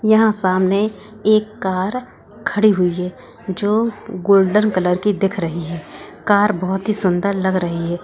यहाँ सामने एक कार खड़ी हुई है जो गोल्डन कलर की दिख रही है कार बहुत ही सुंदर लग रही है।